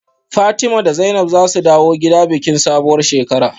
Fatima da Zainab zasu dawo gida bikin sabuwar shekara